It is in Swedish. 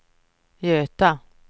Göta